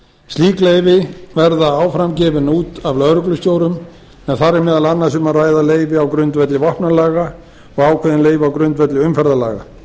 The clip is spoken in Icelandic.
slík leyfi verða áfram gefin út af lögreglustjórum en þar er meðal annars um að ræða leyfi á grundvelli vopnalaga og ákveðin leyfi á grundvelli umferðarlaga